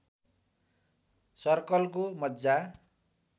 सर्कलको मज्जा